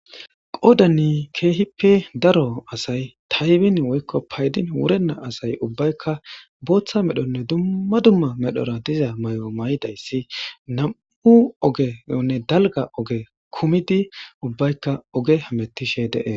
Qodani keehippe daro asay taybin woykko paydin wurenna asay ubbaykka booththa medhonne dumma dumma medhora diza may'o may'idayssi nam'u ogeyonne dalga oge kumidi ubbaykka oge hamettishe dee